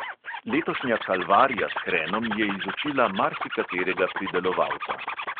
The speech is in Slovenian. Letošnja kalvarija s hrenom je izučila marsikaterega pridelovalca.